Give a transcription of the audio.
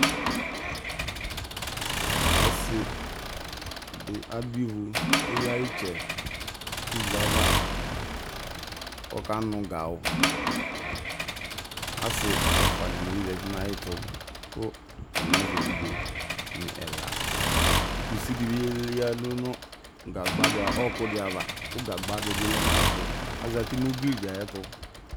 Ɔsɩ dɩ adʋ ivu kʋ eyǝ ɩtsɛ nʋ ivu yɛ ava kʋ ɔkanʋ gawʋ Asɩ ɛfʋa dɩnɩ bɩ zati nʋ ayɛtʋ kʋ atanɩ azɛ evidzenɩ ɛla Kusi dɩ yǝdu nʋ ɔɣɔkʋ dɩ ava kʋ gagba dɩ bɩ lɛ nʋ ayɛtʋ Azati nʋ ugli dɩ ɛtʋ